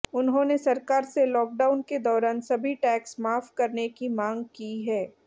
उन्होंने सरकार से लॉकडाउन के दौरान सभी टैक्स माफ करने की मांग की है